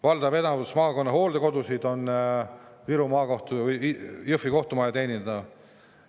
Valdav enamus maakonna hooldekodusid on Jõhvi kohtumaja teenida.